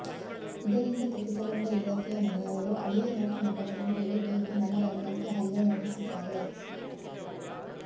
ಇದರಿಂದ ಕುಪಿತಗೊಂಡ ಯುವತಿಯ ಮನೆಯವರು ಅಳಿಯ ಮತ್ತು ಮಗಳನ್ನು ಎಳೆದೊಯ್ದು ಮನಬಂದಂತೆ ಹಲ್ಲೆ ನಡೆಸಿದ್ದಾರೆ